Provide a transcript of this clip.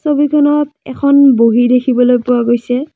ছবিখনত এখন বহি দেখিবলৈ পোৱা গৈছে।